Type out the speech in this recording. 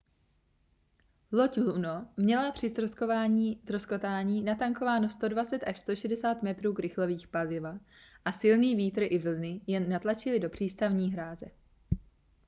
loď luno měla při ztroskotání natankováno 120-160 metrů krychlových paliva a silný vítr i vlny ji natlačily do přístavní hráze